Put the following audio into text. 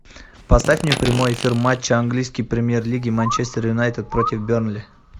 поставь мне прямой эфир матча английской премьер лиги манчестер юнайтед против бернли